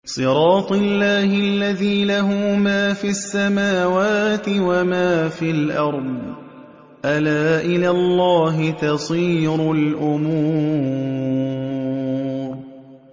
صِرَاطِ اللَّهِ الَّذِي لَهُ مَا فِي السَّمَاوَاتِ وَمَا فِي الْأَرْضِ ۗ أَلَا إِلَى اللَّهِ تَصِيرُ الْأُمُورُ